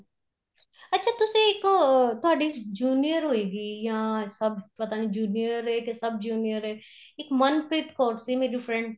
ਅੱਛਾ ਤੁਸੀਂ ਇੱਕ ਤੁਹਾਡੀ junior ਹੋਏ ਗੀ ਹਾਂ ਸਭ ਪਤਾ ਨੀਂ junior ਏ ਕੇ sub junior ਏ ਇੱਕ ਮਨਪ੍ਰੀਤ ਕੌਰ ਸੀ ਮੇਰੀ friend